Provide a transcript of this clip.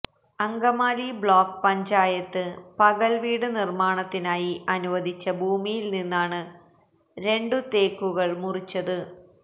Angamaly block panchayat പകൽവീട് നിർമാണത്തിനായി അനുവദിച്ച ഭൂമിയിൽനിന്നാണ് രണ്ട് തേക്കുകൾ മുറിച്ചത്